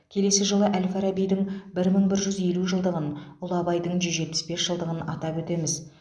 келесі жылы әл фарабидің бір мың бір жүз елу жылдығын ұлы абайдың жүз жетпіс бес жылдығын атап өтеміз